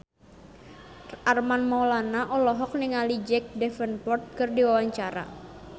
Armand Maulana olohok ningali Jack Davenport keur diwawancara